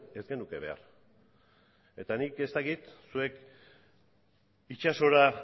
ez genuke behar eta nik ez dakit zuek itsasora